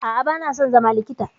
A'a, ba na son zama likita.